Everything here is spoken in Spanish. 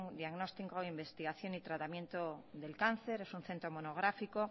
diagnóstico investigación y tratamiento del cáncer es un centro monográfico